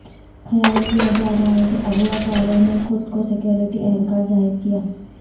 خیال کیا جا رہا ہے کہ اغواء کاروں نے خود کو سکیورٹی اہلکار ظاہر کیا